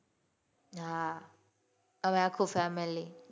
હાં અમે આખું family